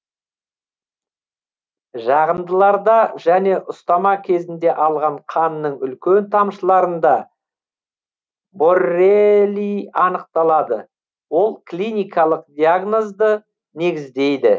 жағындыларда және ұстама кезінде алған қанның үлкен тамшыларында борреелий анықталады ол клиникалық диагнозды негіздейді